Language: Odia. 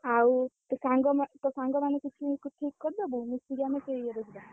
ଆଉ ତୋ ସାଙ୍ଗମାନେ ତୋ ସାଙ୍ଗମାନଙ୍କୁ କିଛି ତୁ ଠିକ୍ କରିଦବୁ ମିଶିକି ଆମେ ସେଇ ଇଏରେ ଯିବା।